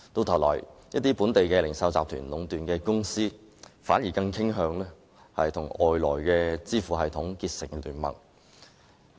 同時，一些本地零售集團壟斷的公司反而更傾向與外來的支付系統結盟。